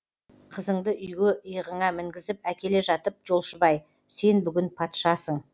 қызыңды үйге иығыңа мінгізіп әкеле жатып жолшыбай сен бүгін патшасың